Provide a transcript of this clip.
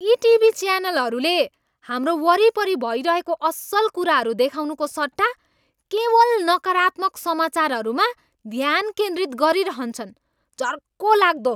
यी टिभी च्यानलहरूले हाम्रो वरिपरि भइरहेको असल कुराहरू देखाउनुको सट्टा केवल नकारात्मक समाचारहरूमा ध्यान केन्द्रित गरिरहन्छन्। झर्कोलाग्दो!